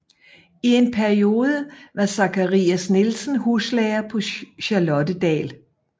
I en periode var Zakarias Nielsen huslærer på Charlottedal